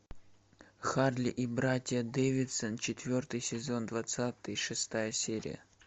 харли и братья дэвидсон четвертый сезон двадцать шестая серия